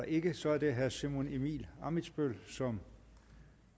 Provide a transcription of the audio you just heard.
ikke så er det herre simon emil ammitzbøll som